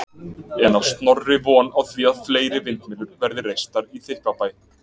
En á Snorri von á því að fleiri vindmyllur verði reistar í Þykkvabæ?